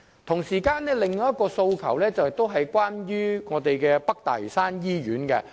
同時，我們還有另一個訴求，與北大嶼山醫院有關。